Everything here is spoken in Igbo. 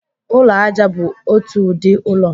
Ụlọ aja bụ otu ụdị ụlọ.